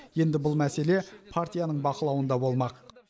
енді бұл мәселе партияның бақылауында болмақ